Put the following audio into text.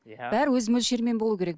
бәрі өз мөлшерімен болу керек